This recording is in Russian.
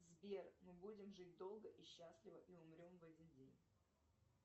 сбер мы будем жить долго и счастливо и умрем в один день